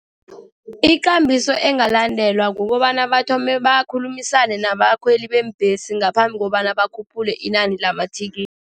Ikambiso engalandelwa kukobana bathome bakhulumisane nabakhweli beembhesi, ngaphambi kobana bakhuphule inani lamathikithi.